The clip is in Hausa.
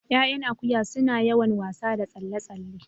Ƴaƴan akuya suna da yawan wasa da tsalle tsalle